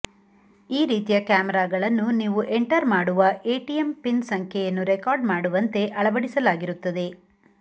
ಈ ರೀತಿಯ ಕ್ಯಾಮೆರಾಗಳನ್ನು ನೀವು ಎಂಟರ್ ಮಾಡುವ ಎಟಿಎಂ ಪಿನ್ ಸಂಖ್ಯೆಯನ್ನು ರೆಕಾರ್ಡ್ ಮಾಡುವಂತೆ ಅಳವಡಿಸಲಾಗಿರುತ್ತದೆ